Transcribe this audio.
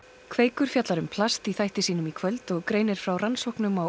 kveikur fjallar um plast í þætti sínum í kvöld og greinir frá rannsóknum á